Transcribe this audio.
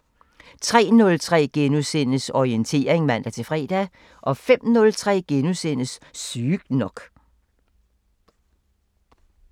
03:03: Orientering *(man-fre) 05:03: Sygt nok *